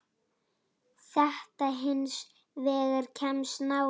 Þetta hins vegar kemst nálægt.